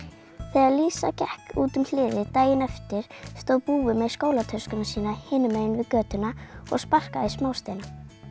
þegar Lísa gekk út um hliðið daginn eftir stóð búi með skólatöskuna sína hinum meginn við götuna og sparkaði í smásteina